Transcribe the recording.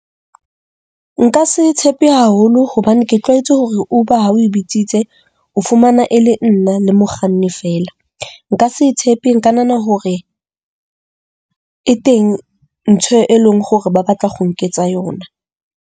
Nka se tshepe haholo hobane ke tlwaetse hore Uber ha o e bitsitse o fumana e le nna le mokganni feela, nka se e tshepe. Nka nahana hore e teng ntho e leng hore ba batla go nketsa yona.